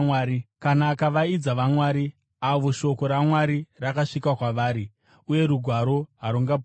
Kana akavaidza ‘vamwari,’ avo shoko raMwari rakasvika kwavari, uye Rugwaro harungaputswi,